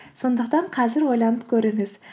сондықтан қазір ойланып көріңіз